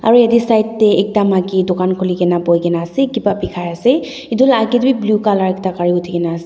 aro yate side tae ekta maki dukan khulikae na boiase kipa bikaiase edu la akae tae bi blue colour ekta gari uthi kaenaase.